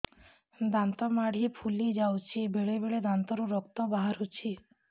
ଦାନ୍ତ ମାଢ଼ି ଫୁଲି ଯାଉଛି ବେଳେବେଳେ ଦାନ୍ତରୁ ରକ୍ତ ବାହାରୁଛି